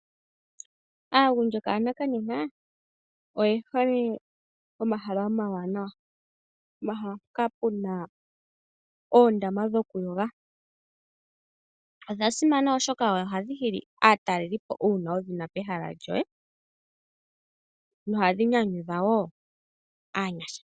Aagundjuka ya nakanena oye hole pomahala omawanawa. Pomahala mpoka pu na oondama dhokuyoga. Odha simana oshoka ohadhi hili aatalelipo uuna wu dhi na pehala lyoye nohadhi nyanyudha wo aanyasha.